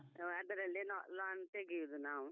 ಅದರಲ್ಲಿ ನಾವು loan ತೆಗಿಯುದು ನಾವು.